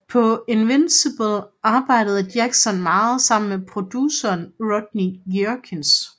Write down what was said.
På Invincible arbejdede Jackson meget sammen med produceren Rodney Jerkins